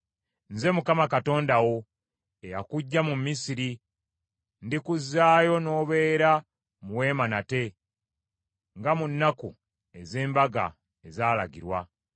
Nze Mukama Katonda wo, eyakuggya mu Misiri; ndikuzzaayo n’obeera mu weema nate, nga mu nnaku ez’embaga ezaalagirwa.